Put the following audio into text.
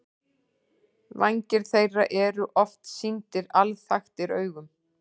Vængir þeirra eru oft sýndir alþaktir augum.